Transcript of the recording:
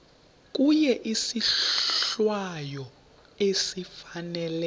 kuye isohlwayo esifanele